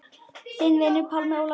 Þinn vinur, Pálmi Ólafur.